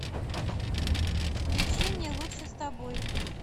включи мне лучше с тобой